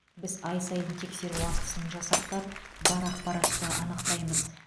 біз ай сайын тексеру актісін жасақтап бар ақпаратты анықтаймыз